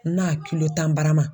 N'a tan barama